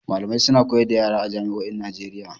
Malamai suna koyar da yara a jami'o'in Najeiya.